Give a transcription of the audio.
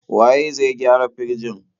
Waye zai gyara firjin?